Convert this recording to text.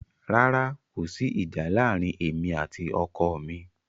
Rárá, kò sí ìjà láàárín èmi àti ọkọ mi.